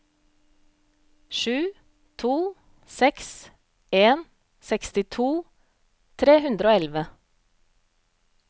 sju to seks en sekstito tre hundre og elleve